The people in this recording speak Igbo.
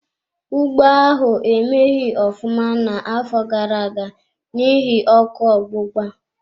Ugbo ahụ emeghi ofụma n'afọ gara-aga n'ihi ọkụ ogbugba.